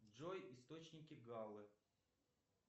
джой источники галлы